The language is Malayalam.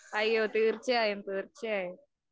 തീര്‍ച്ചയായും, തീര്‍ച്ചയായും